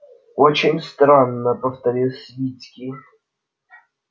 очень странно повторил свицкий